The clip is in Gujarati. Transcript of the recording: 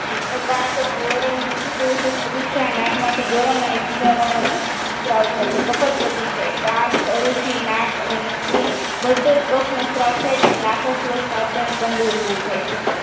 તો પાક જઓરો મુખટોસ તૃષા નાકમાંથી પીળા વર્ણનો સ્ત્રાવ થાય છે કફત પ્રતિસાય કાસ સરૂચી નાક અને મુખથી ઘટે કફનો સ્ત્રાવ થાય છે નાક સ્ત્રાવમાં અત્યંત ગંધ ઉતપન્ન થાય છે